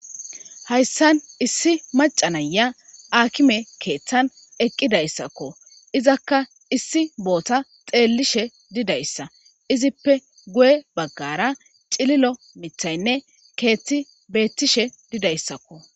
hayssan issi macanaya akime keeththan eqqidayssakko izakka issi boota xeellishe didayssa izippe guye baggara cililo mithaynne keethti beettishe didayssakko